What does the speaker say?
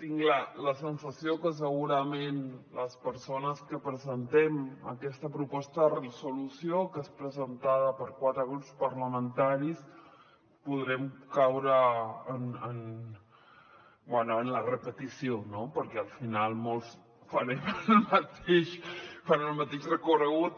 tinc la sensació que segurament les persones que presentem aquesta proposta de resolució que és presentada per quatre grups parlamentaris podrem caure en la repetició no perquè al final molts farem el mateix recorregut